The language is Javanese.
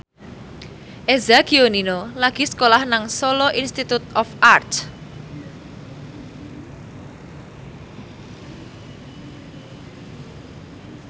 Eza Gionino lagi sekolah nang Solo Institute of Art